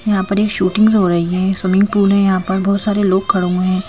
यहां पर एक शूटिंग हो रही है स्विमिंग पूल है यहां पर बहोत सारे लोग खड़ो हुए हैं।